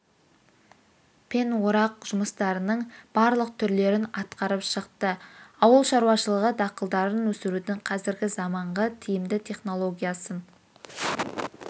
пен орақ жұмыстарының барлық түрлерін атқарып шықты ауыл шаруашылығы дақылдарын өсірудің қазіргі заманғы тиімді технологиясын